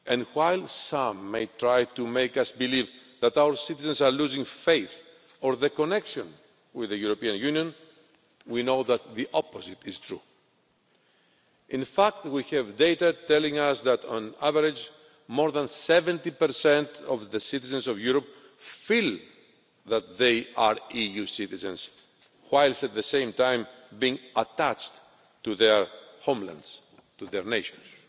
While some may try to make us believe that our citizens are losing faith or the connection with the European Union, we know that the opposite is true. In fact, we have data telling us that, on average, more than 70 of the citizens of Europe feel that they are EU citizens, while at the same time being attached to their homelands, to their nations.